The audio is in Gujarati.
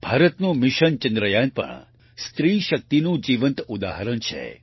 ભારતનું મિશન ચંદ્રયાન પણ સ્ત્રી શક્તિનું જીવંત ઉદાહરણ છે